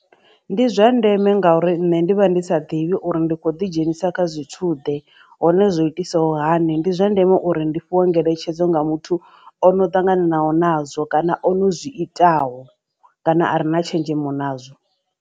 Ndi zwa ndeme ngauri nṋe ndi vha ndi sa ḓivhi uri ndi khou ḓidzhenisa kha zwithuḓe hone zwo itisaho hani ndi zwa ndeme uri ndi fhiwe ngeletshedzo nga muthu ono ṱanganaho nazwo kana ono zwi itaho kana a re na tshenzhemo nazwo.